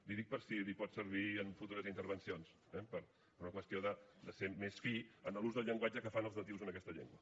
li ho dic per si li pot servir en futures intervencions eh per una qüestió de ser més fi en l’ús del llenguatge que fan els nadius en aquesta llengua